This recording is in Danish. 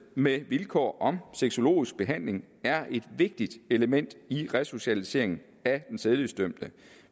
med vilkår om sexologisk behandling er et vigtigt element i resocialiseringen af den sædelighedsdømte